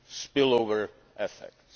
spill over effects.